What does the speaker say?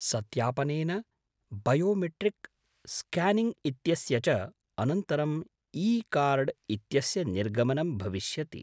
सत्यापनेन biometric scanning इत्यस्य च अनन्तरम् ईकार्ड् इत्यस्य निर्गमनं भविष्यति।